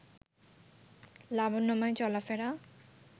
লাবণ্যময় চলাফেরা